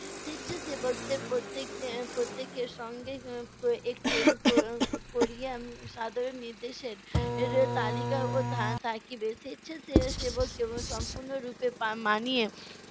স্বেচ্ছাসেবকদের প্রত্যেকেদের প্রত্যেকের সঙ্গে এর একটি এর সাধারণ নির্দেশের এর তালিকাও থা~ থাকিবে স্বেচ্ছা সে~ সেবক সম্পূর্ণরূপে মানিয়ে